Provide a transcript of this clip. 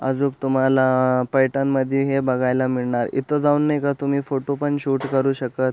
अजुक तुम्हाला अ पैठण मध्ये हे बघायला मिळनार इथ जाऊन नाई का तुम्ही फोटो पण शूट करू शकत--